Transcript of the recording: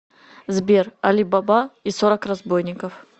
сбер али баба и сорок разбойников